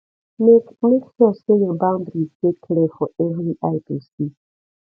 make make sure say your boundaries de clear for every eye to see